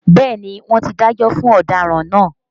Bẹ́ẹ̀ni wọn tí dájọ́ fún ọ̀daràn náà